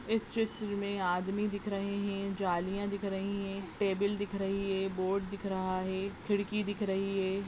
इस चित्र मे आदमी दिख रहे है जालियाँ दिख रही है टेबल दिख रही है बोर्ड दिख रहा है खिडकी दिख रही है।